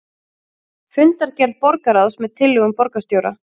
Fundargerð borgarráðs með tillögum borgarstjóra